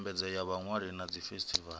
ndambedzo ya vhaṅwali na dzifesitivala